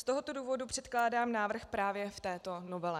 Z tohoto důvodu předkládám návrh právě v této novele.